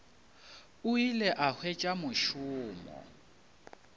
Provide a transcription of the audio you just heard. o ile a hwetša mošomo